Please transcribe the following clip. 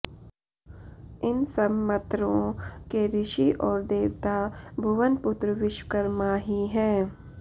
इन सब मत्रों के ऋषि और देवता भुवनपुत्र विश्वकर्मा ही हैं